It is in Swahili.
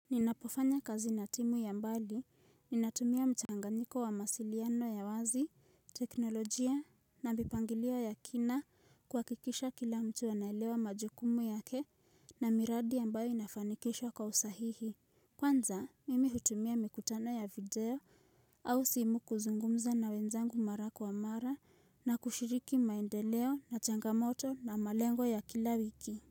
Ninapofanya kazi na timu ya mbali, ninatumia mchanganiko wa mawasiliano ya wazi, teknolojia, na mipangilio ya kina kwa kuhakikisha kila mtu anaelewa majukumu yake na miradi ambayo inafanikishwa kwa usahihi. Kwanza, mimi hutumia mikutano ya video au simu kuzungumza na wenzangu mara kwa mara na kushiriki maendeleo na changamoto na malengo ya kila wiki.